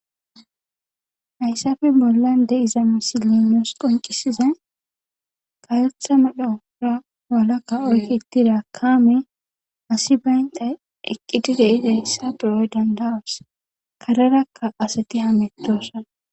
hayssafe bolla de7izama si linos qoncisiza kayetha madhora walakka oykkitida kaame asi bayntay eqqiti de ida hyssa perooy dandawas karerakka asati hametoossa